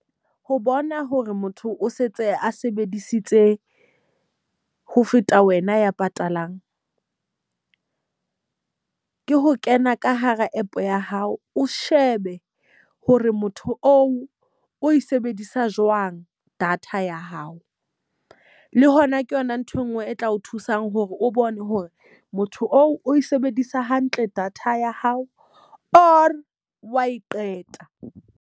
Ho bona hore motho o setse a sebedisitse ho feta wena ya patalang. Ke ho kena ka hara app ya hao, o shebe hore motho oo o e sebedisa jwang data ya hao. Le hona ke yona nthwe nngwe e tla o thusang hore o bone hore motho oo o e sebedisa hantle data ya hao or wa e qeta.